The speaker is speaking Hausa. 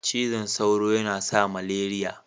Cizan sauro yana sa maleriya.